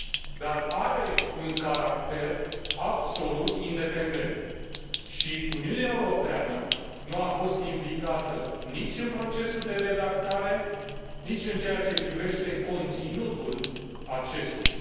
dar are un caracter absolut independent și Uniunea Europeană nu a fost implicată nici în procesul de redactare, nici în ceea ce privește conținutul acestuia.